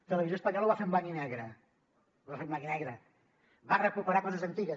televisió espanyola ho va fer en blanc i negre ho va fer en blanc i negre va recuperar coses antigues